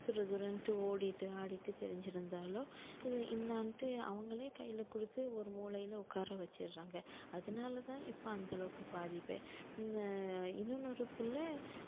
துருதுருன்ட்டு ஓடிட்டு ஆடிட்டு திரிஞ்சிருந்தாலும் இது என்னான்ட்டு அவங்களே கையில கொடுத்து ஒரு மூலையில உட்கார வச்சிடுறாங்க அதனாலதான் இப்ப அந்த அளவுக்கு பாதிப்பே இன்~ இன்னொன்னு ஒரு பிள்ளை